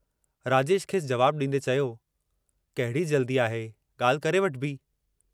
राजेश खेसि जवाबु ॾींदे चयो, कहिड़ी जल्दी आहे, ॻाल्हि करे वठिबी।